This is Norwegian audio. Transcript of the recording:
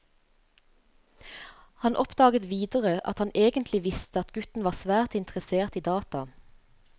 Han oppdaget videre at han egentlig visste at gutten var svært interessert i data.